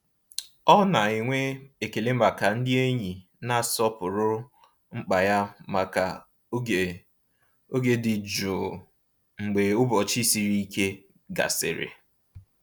Ọ na-enwe ekele maka ndị enyi na-asọpụrụ mkpa ya maka oge oge dị jụụ mgbe ụbọchị siri ike gasịrị.